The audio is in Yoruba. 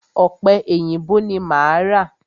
Ọ̀pẹ èyìǹbó ni máa ra.